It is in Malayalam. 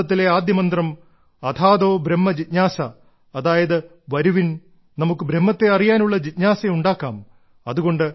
വേദാന്തത്തിലെ ആദ്യ മന്ത്രം അഥാതോ ബ്രഹ്മ ജിജ്ഞാസ അതായത് വരുവിൻ നമുക്ക് ബ്രഹ്മത്തെ അറിയാനുള്ള ജിജ്ഞാസ ഉണ്ടാക്കാം